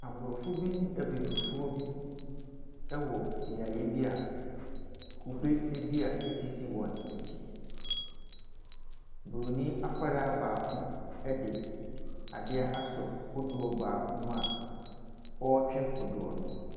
Aborɔfo bi ne Abibifoɔ bi wɔ beaeɛ bi a kube dua sisi wɔn akyi. Buronin akwadaa baako de adeɛ asɔ kodoɔ baako mu a ɔretwe kodoɔ no.